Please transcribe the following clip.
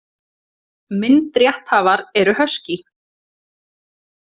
Myndrétthafar eru Husky.